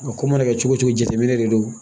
A ko mana kɛ cogo cogo jateminɛ de do